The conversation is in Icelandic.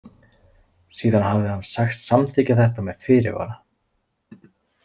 Síðan hafði hann sagst samþykkja þetta með fyrirvara.